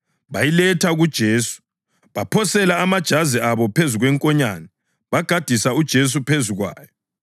Bayiletha kuJesu, baphosela amajazi abo phezu kwenkonyane, bagadisa uJesu phezu kwayo.